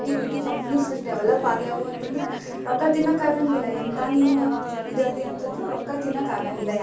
IT BT companies ಅಷ್ಟ develop ಆಗ್ಯವು ಅಂದ್ರ, ರೊಕ್ಕ ತಿನ್ನಾಕ ಆಗಂಗಿಲ್ಲಾ ಎಂತ ನೀನ್ ಇದ್ ಅದಿ ಅಂತಂದ್ರು ರೊಕ್ಕ ತಿನ್ನಾಕ ಆಗಂಗಿಲ್ಲಾ.